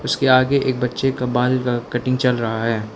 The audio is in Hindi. उसके आगे एक बच्चे का बाल का कटिंग चल रहा है।